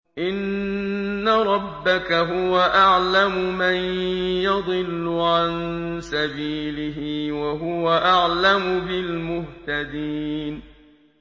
إِنَّ رَبَّكَ هُوَ أَعْلَمُ مَن يَضِلُّ عَن سَبِيلِهِ ۖ وَهُوَ أَعْلَمُ بِالْمُهْتَدِينَ